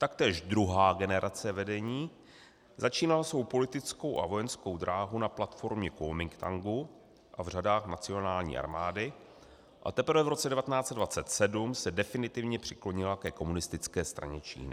Taktéž druhá generace vedení začínala svou politickou a vojenskou dráhu na platformě Kuomintangu a v řadách nacionální armády a teprve v roce 1927 se definitivně přiklonila ke Komunistické straně Číny.